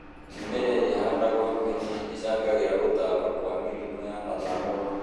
mĩmera ĩria ĩhandagũo hakuhĩ nĩ ĩcangagĩra gũtamba kũa mĩrimu ya mathangũ